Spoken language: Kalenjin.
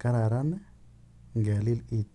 Kararan ngelil itonwek ap piik.